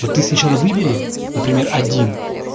но ты сначала выбери например один